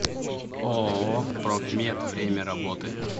ооо профмед время работы